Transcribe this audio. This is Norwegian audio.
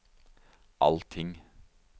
allting